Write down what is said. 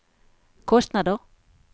kostnader